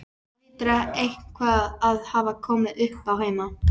Það hlýtur eitthvað að hafa komið uppá heima.